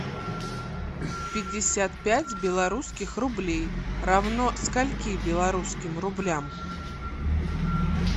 пятьдесят пять белорусских рублей равно скольки белорусским рублям